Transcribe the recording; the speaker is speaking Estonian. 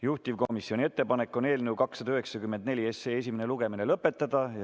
Juhtivkomisjoni ettepanek on eelnõu 294 esimene lugemine lõpetada.